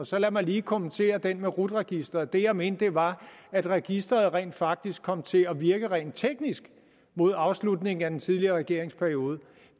så lad mig lige kommentere det med rut registeret det jeg mente var at registeret rent faktisk kom til at virke rent teknisk mod afslutningen af den tidligere regerings periode